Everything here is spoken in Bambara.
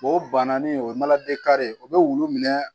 O bananin o ye mana de kare ye o bɛ wulu minɛ